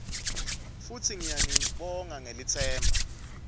futsi ngiyanibonga ngelitsemba